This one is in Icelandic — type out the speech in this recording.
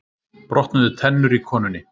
Brotnuðu tennur í konunni